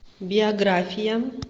биография